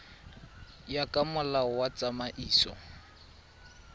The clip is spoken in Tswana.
ya ka molao wa tsamaiso